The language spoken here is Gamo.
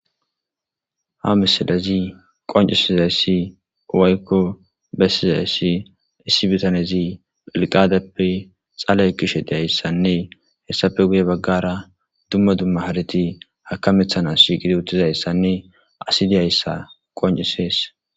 ha misilezi qoncusizayssi uwaykko bessizayssi issibitanezi phelqadeppe xalay kishe deyayssanne hessape guye baggara dumma dumma hareti hakamethanasigidi uttizayssanne asi deyayssa qoncisees